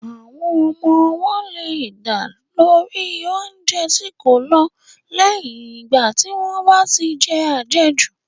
Àwọn ọmọ ọwọ́ leè dà nítorí oúnjẹ tí kò lọ̀ lẹ́yìn ìgbà tí wọ́n bá tí je àjejù.